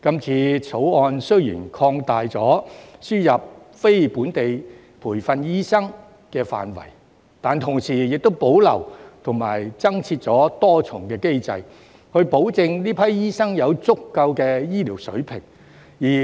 《條例草案》雖然擴大了輸入非本地培訓醫生的範圍，但同時保留和增設多重機制，保證這批醫生有足夠醫療水平。